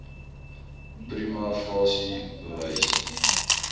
prima facie bewys